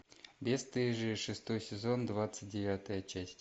бесстыжие шестой сезон двадцать девятая часть